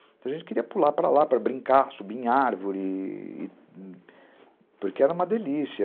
Então, a gente queria pular para lá, para brincar, subir em árvore, porque era uma delícia.